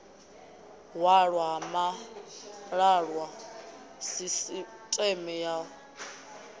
hwalwa ha malaṱwa sisiṱeme ya